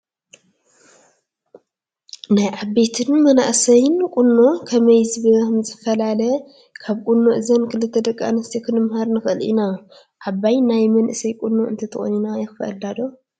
ናይ ዓበይትን መናእሰይን ቁኖ ከመይ ከምዝፈላለ ካብ ቁኖ እዘን ክልተ ደቂ ኣንስትዮ ክንመሃር ንኽእል ኢና፡፡ ዓባይ ናይ መናእሰይ ቁኖ እንተተቖኒና የኽፍአላ ዶ?